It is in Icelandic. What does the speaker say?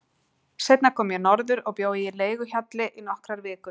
Seinna kom ég norður og bjó í leiguhjalli í nokkrar vikur.